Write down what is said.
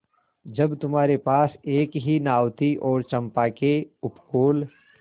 जब तुम्हारे पास एक ही नाव थी और चंपा के उपकूल